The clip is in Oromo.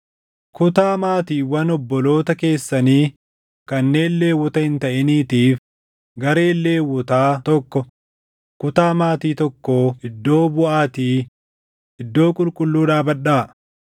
“Kutaa maatiiwwan obboloota keessanii kanneen Lewwota hin taʼiniitiif gareen Lewwotaa tokko kutaa maatii tokkoo iddoo buʼaatii iddoo qulqulluu dhaabadhaa.